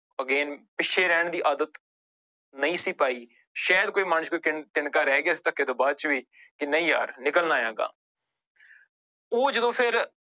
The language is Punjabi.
Again ਪਿੱਛੇ ਰਹਿਣ ਦੀ ਆਦਤ ਨਹੀਂ ਸੀ ਪਾਈ ਸ਼ਾਇਦ ਕੋਈ ਮਨ ਚ ਕੋਈ ਤਿਨ ਤਿੰਨਕਾ ਰਹਿ ਗਿਆ ਸੀ ਧੱਕੇ ਤੋਂ ਬਾਅਦ ਵੀ ਕਿ ਨਹੀਂ ਯਾਰ ਨਿਕਲਣਾ ਹੈ ਅਗਾਂਹ ਉਹ ਜਦੋਂ ਫਿਰ